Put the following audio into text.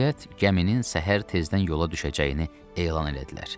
Nəhayət, gəminin səhər tezdən yola düşəcəyini elan elədilər.